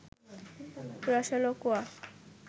রসালো কোয়া